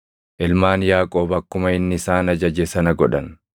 Ilmaan Yaaqoob akkuma inni isaan ajaje sana godhan;